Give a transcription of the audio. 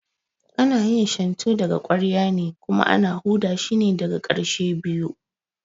Ana yin Shantu daga ƙwarya ne kuma ana huda shine daga ƙarshe biyu